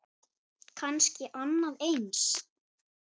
Kannski annað eins.